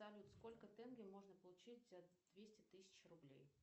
салют сколько тенге можно получить за двести тысяч рублей